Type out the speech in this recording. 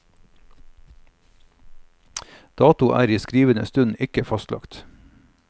Dato er i skrivende stund ikke fastlagt.